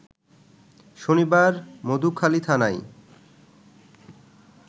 শনিবার মধুখালীথানায়